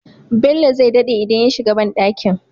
Bello zai daɗe idan ya shiga banɗakin